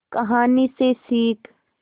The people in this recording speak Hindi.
कहानी से सीख